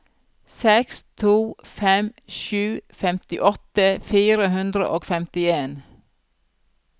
seks to fem sju femtiåtte fire hundre og femtien